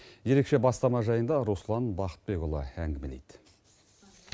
ерекше бастама жайында руслан бақытбекұлы әңгімелейді